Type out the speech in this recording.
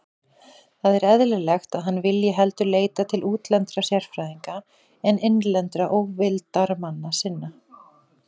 Það er eðlilegt, að hann vilji heldur leita til útlendra sérfræðinga en innlendra óvildarmanna sinna.